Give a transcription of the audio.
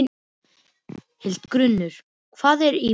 Hildigunnur, hvað er í matinn?